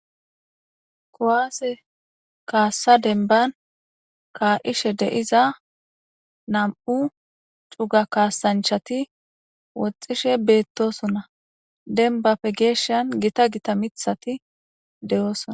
Kowaase kaassa denban kaa'ishe deiza nam'u cuga kaasanchati woxxishe beettosona denbapfe geeshshan gita gita mithati deyoosona.